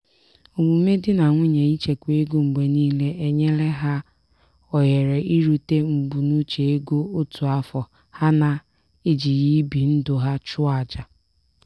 omume di na nwunye ichekwa ego mgbe niile enyela ha ohere irute mbunuche ego otu afọ ha na-ejighị ibi ndụ ha chụọ aja.